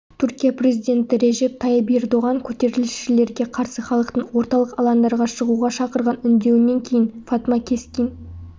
түркия президенті режеп тайып ердоған көтерілісшілерге қарсы халықтың орталық алаңдарға шығуға шақырған үндеуінен кейін фатма кескин